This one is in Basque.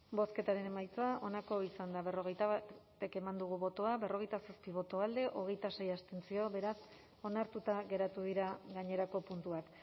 bozketaren emaitza onako izan da hirurogeita hamairu eman dugu bozka berrogeita zazpi boto alde hogeita sei abstentzio beraz onartuta geratu dira gainerako puntuak